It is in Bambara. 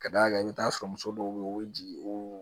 Ka d'a kan i bɛ t'a sɔrɔ muso dɔw bɛ yen o bɛ jigin o